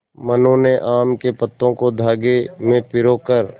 मनु ने आम के पत्तों को धागे में पिरो कर